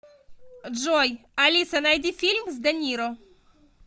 джой алиса найди фильм с де ниро